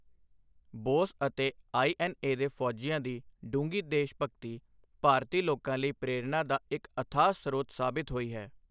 ਬੋਸ ਅਤੇ ਆਈ.ਐਨ.ਏ. ਦੇ ਫੌਜੀਆਂ ਦੀ ਡੂੰਘੀ ਦੇਸ਼ਭਗਤੀ ਭਾਰਤੀ ਲੋਕਾਂ ਲਈ ਪ੍ਰੇਰਣਾ ਦਾ ਇਕ ਅਥਾਹ ਸਰੋਤ ਸਾਬਿਤ ਹੋਈ ਹੈ।